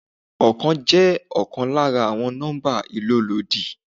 Oókan jẹ́ ọkàn lára àwọn nọ́mbà ìlólòdi.